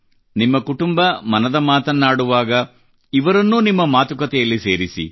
ನಿಮ್ಮ ಕುಟುಂಬ ಮನದ ಮಾತನ್ನಾಡುವಾಗ ಇವರನ್ನೂ ನಿಮ್ಮ ಮಾತುಕತೆಯಲ್ಲಿ ಸೇರಿಸಿ